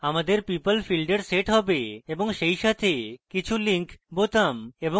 আমাদের people fields we set have এবং set সাথে কিছু links এবং বোতাম এবং জিনিস